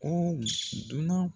Ooli dunanw